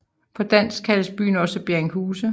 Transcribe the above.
På dansk kaldes byen også Berringhuse